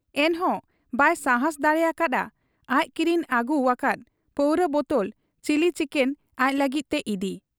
ᱮᱱᱦᱚᱸ ᱵᱟᱭ ᱥᱟᱦᱟᱸᱥ ᱫᱟᱲᱮ ᱟᱠᱟ ᱦᱟᱫ ᱟ ᱟᱡ ᱠᱤᱨᱤᱧ ᱟᱹᱜᱩᱣ ᱟᱠᱟᱫ ᱯᱟᱹᱣᱨᱟᱹ ᱵᱚᱛᱚᱞ, ᱪᱤᱞᱤ ᱪᱤᱠᱮᱞ ᱟᱡ ᱞᱟᱹᱜᱤᱫ ᱛᱮ ᱤᱫᱤ ᱾